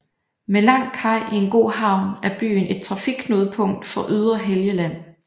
Med lang kaj i en god havn er byen et trafikknudepunkt for ydre Helgeland